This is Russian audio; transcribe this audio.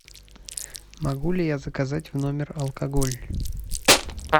могу ли я заказать в номер алкоголь